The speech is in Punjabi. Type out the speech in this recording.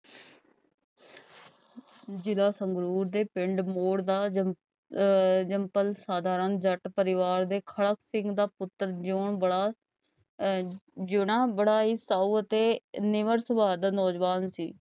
ਜਿਲਾ ਸੰਗਰੂਰ ਦੇ ਪਿੰਡ ਮੋੜ ਦਾ ਅਹ simple ਸਾਧਾਰਨ ਜੱਟ ਪਰਿਵਾਰ ਦੇ ਖੜਕ ਸਿੰਘ ਦਾ ਪੁੱਤਰ ਜਯੋਂ ਬੜਾ ਅਹ ਜਯੋਂ ਨਾ ਬੜਾ ਹੀ ਸਾਊ ਅਤੇ ਨਿਵਰ ਸਵਾਹ ਦਾ ਨੌਜਵਾਨ ਸੀ